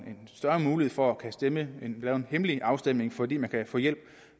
større mulighed for at kunne stemme ved hjælp af en hemmelig afstemning fordi man kan få hjælp